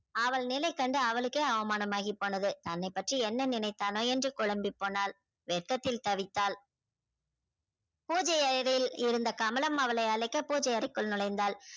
அவள் நிலை கண்டு அவளுக்கே அவமானம் ஆகிப்போனது தன்னை பற்றி என்ன நினைத்தானோ என்று குழம்பி போனால் வெக்கத்தில் தவித்தால பூஜை அறையில் இருந்த அழைக்க பூஜை அறைகுல் நுழைந்தால்